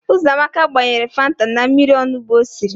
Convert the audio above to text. Ụzọamaka gbanyere fanta na mmiri onugbo o siri.